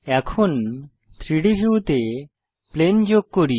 এখন 3ডি ভিউতে প্লেন যোগ করি